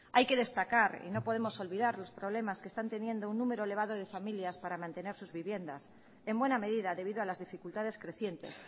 hay que destacar y no podemos olvidar los problemas que están teniendo un número elevado de familias para mantener sus viviendas en buena medida debido a las dificultades crecientes